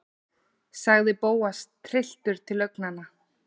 sagði Bóas, trylltur til augnanna.